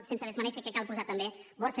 sense desmerèixer que cal posar també borsa